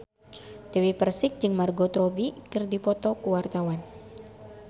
Dewi Persik jeung Margot Robbie keur dipoto ku wartawan